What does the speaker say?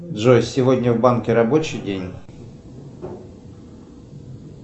джой сегодня в банке рабочий день